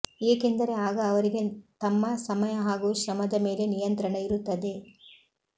ಏಕೆಂದರೆ ಆಗ ಅವರಿಗೆ ತಮ್ಮ ಸಮಯ ಹಾಗು ಶ್ರಮದ ಮೇಲೆ ನಿಯಂತ್ರಣ ಇರುತ್ತದೆ